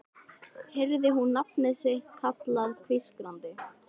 Heyrði hún nafnið sitt kallað hvískrandi